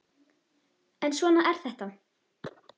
En svona er þetta!